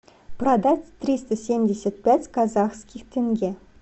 продать триста семьдесят пять казахских тенге